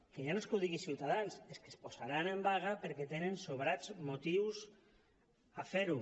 que ja no és que ho digui ciutadans és que es posaran en vaga perquè tenen sobrats motius per fer ho